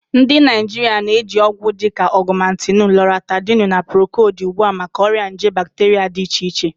Ndị Naijiria na-eji ọgwụ dịka Ogumentinu, Loratadini, na Procodi ugbu a maka ọrịa nje bacteria dị iche iche